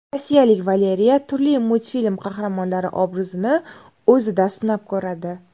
Rossiyalik Valeriya turli multfilm qahramonlari obrazini o‘zida sinab ko‘radi.